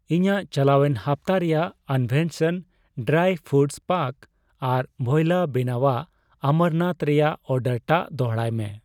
ᱤᱧᱟᱜ ᱪᱟᱞᱟᱣᱮᱱ ᱦᱟᱯᱛᱟ ᱨᱮᱭᱟᱜ ᱟᱱᱵᱷᱮᱥᱟᱱ ᱰᱨᱟᱭ ᱯᱷᱚᱨᱩᱴ ᱯᱟᱠ ᱟᱨ ᱵᱷᱳᱭᱞᱟ ᱵᱮᱱᱟᱣᱟᱜ ᱟᱢᱨᱟᱱᱛᱷ ᱨᱮᱭᱟᱜ ᱚᱨᱰᱟᱨᱴᱟᱜ ᱫᱚᱲᱦᱟᱭ ᱢᱮ ᱾